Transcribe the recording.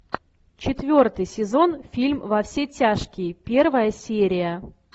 четвертый сезон фильм во все тяжкие первая серия